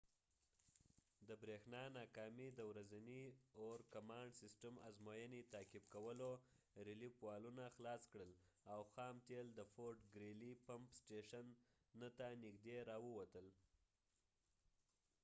د بریښنا ناکامي د ورځني اور-کمانډ سیسټم ازموینې تعقيب کولو ریليف والونه خلاص کړل او خام تیل د فورټ ګریلي پمپ سټیشن 9 ته نږدې راووتل